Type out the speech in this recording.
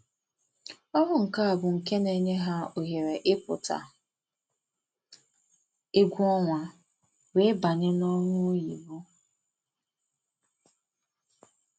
ọrụ nka bụ nke na-enye ha ohere ị pụta egwu ọnwa wee banye n'ọrụ oyibo